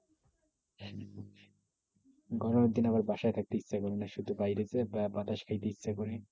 গরমের দিনে আবার বাসায় থাকতে ইচ্ছে করেনা। শুধু বাইরে গিয়ে বাতাস খাইতে ইচ্ছা করে।